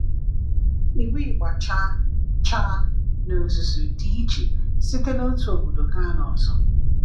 Iwu ịgba chaa chaa n’ozuzu dị iche site n’otu obodo gaa n’ọzọ.